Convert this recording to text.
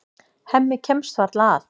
Hemmi kemst varla að.